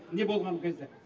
не болған кезде